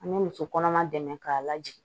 An bɛ muso kɔnɔma dɛmɛ k'a lajigin